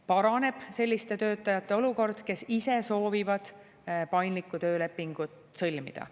Paraneb selliste töötajate olukord, kes ise soovivad paindlikku töölepingut sõlmida.